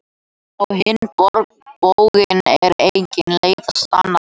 Á hinn bóginn er engin leið að sanna það.